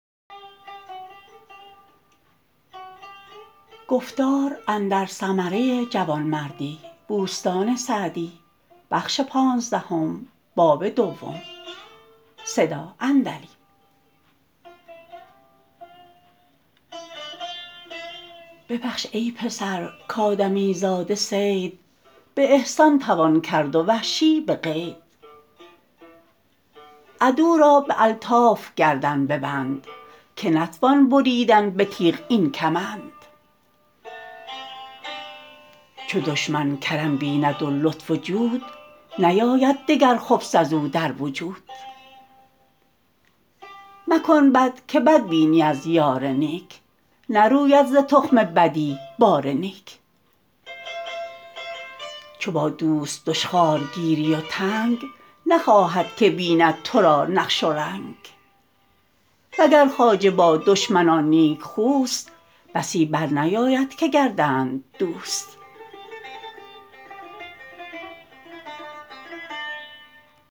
ببخش ای پسر کآدمی زاده صید به احسان توان کرد و وحشی به قید عدو را به الطاف گردن ببند که نتوان بریدن به تیغ این کمند چو دشمن کرم بیند و لطف و جود نیاید دگر خبث از او در وجود مکن بد که بد بینی از یار نیک نروید ز تخم بدی بار نیک چو با دوست دشخوار گیری و تنگ نخواهد که بیند تو را نقش و رنگ و گر خواجه با دشمنان نیکخوست بسی بر نیاید که گردند دوست